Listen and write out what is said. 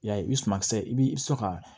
I y'a ye i sumankisɛ i b'i sɔn ka